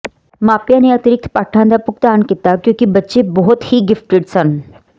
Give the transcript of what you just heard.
ਮਾਪਿਆਂ ਨੇ ਅਤਿਰਿਕਤ ਪਾਠਾਂ ਦਾ ਭੁਗਤਾਨ ਕੀਤਾ ਕਿਉਂਕਿ ਬੱਚੇ ਬਹੁਤ ਹੀ ਗਿਫਟਡ ਸਨ